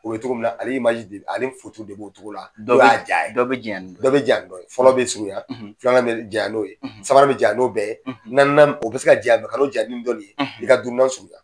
O ye cogo min na, ale de ale foto de b'o cogo la. Dɔ be ja ye, dɔ be janya ni dɔ ye. Dɔ bɛ janya ni dɔ ye. Fɔlɔ bɛ surunya, filanan bɛ janya n'o ye, sabanan bɛ jan n'o bɛɛ ye. Naaninan o bɛ se ka janya ka n'o janya nin dɔ ni ye. I ka duurunan surunya